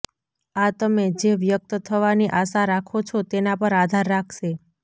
આ તમે જે વ્યક્ત થવાની આશા રાખો છો તેના પર આધાર રાખશે